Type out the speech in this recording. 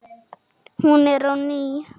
Hún er ný.